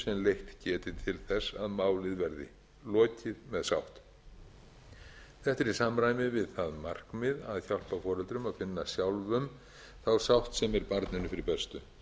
við að draga fram þá hagsmuni sem leitt geti til þess máli verði lokið með sátt þetta er í samræmi við það markmið að hjálpa foreldrum að finna sjálfum þá sátt sem er barninu fyrir bestu